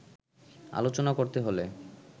আলোচনা করতে হলে